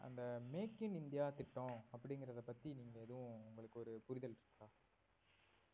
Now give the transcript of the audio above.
அந்த make in India திட்டம் அப்படிங்கறத பத்தி நீங்க எதுவும் உங்களுக்கு ஒரு புரிதல் இருக்கா